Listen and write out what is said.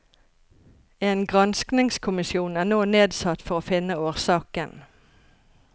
En granskningskommisjon er nå nedsatt for å finne årsaken.